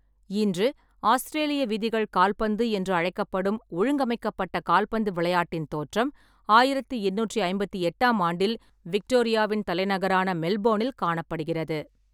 இன்று ஆஸ்திரேலிய விதிகள் கால்பந்து என்று அழைக்கப்படும் ஒழுங்கமைக்கப்பட்ட கால்பந்து விளையாட்டின் தோற்றம் ஆயிரத்தி எண்ணூற்றி ஐம்பத்தி எட்டாம் ஆண்டில் விக்டோரியாவின் தலைநகரான மெல்போன்னில் காணப்படுகிறது.